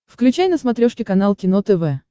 включай на смотрешке канал кино тв